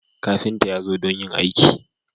Kafintan ya zo don yin aikin.